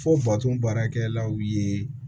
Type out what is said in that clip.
Fo baarakɛlaw ye